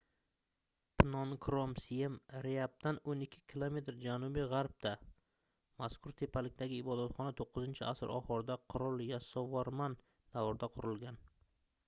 pnon krom siem reapdan 12 km janubi-gʻarbda mazkur tepalikdagi ibodatxona 9-asr oxirida qirol yasovorman davrida qurilgan